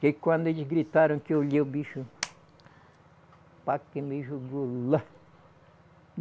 Porque quando eles gritaram, que eu olhei o bicho, pá que me jogou lá.